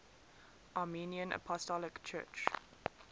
armenian apostolic church